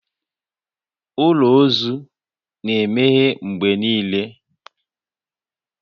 Ụlọ ozu na-emeghe mgbe niile